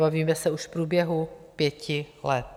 Bavíme se už o průběhu pěti let.